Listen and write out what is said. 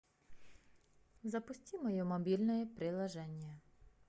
запусти мое мобильное приложение